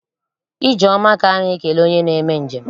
Ije oma ka a na-ekele onye na-eme njem.